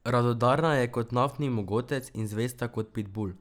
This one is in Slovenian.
Radodarna je kot naftni mogotec in zvesta kot pitbul.